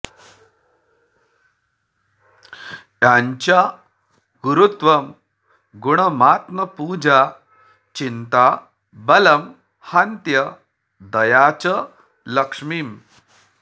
याञ्चा गुरुत्वं गुणमात्मपूजा चिन्ता बलं हन्त्यदया च लक्ष्मीम्